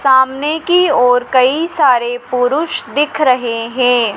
सामने की ओर कई सारे पुरुष दिख रहे हैं।